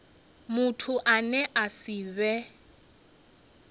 muthu ane a si vhe